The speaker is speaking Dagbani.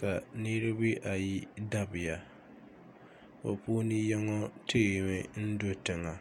ka niriba ayi dabiya bɛ puuni yino teemi n-do tiŋa